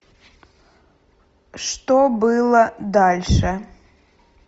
что было дальше